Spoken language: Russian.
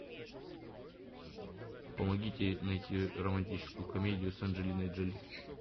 помогите найти романтическую комедию с анджелиной джоли